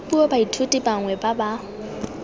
puo baithuti bangwe ba ba